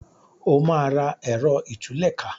o ma rà Ẹ̀rọ ìtúlẹ̀ká!